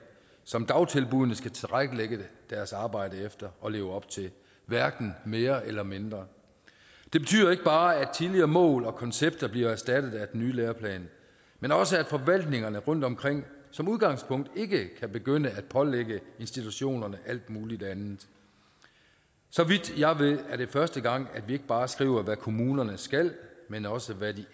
som dagtilbuddene skal tilrettelægge deres arbejde efter og leve op til hverken mere eller mindre det betyder ikke bare at tidligere mål og koncepter bliver erstattet af den nye læreplan men også at forvaltningerne rundtomkring som udgangspunkt ikke kan begynde at pålægge institutionerne alt mulig andet så vidt jeg ved er det første gang vi ikke bare skriver hvad kommunerne skal men også hvad de